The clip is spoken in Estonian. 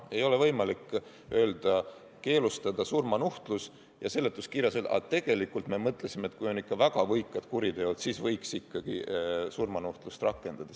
Ei ole võimalik öelda, et keelustada surmanuhtlus, ja seletuskirjas öelda, et tegelikult me mõtlesime, et kui on ikka väga võikad kuriteod, siis võiks ikkagi surmanuhtlust rakendada.